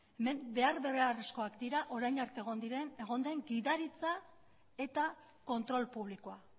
hemen behar beharrezkoak dira orain arte egon den gidaritza eta kontrol publikoa